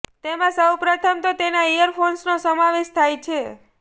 તેમાં સૌ પ્રથમ તો તેના ઇયર ફોન્સનો સમાવેશ થાય છે